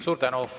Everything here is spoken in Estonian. Suur tänu!